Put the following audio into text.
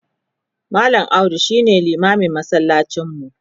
mallam audu shine limamin masallacin mu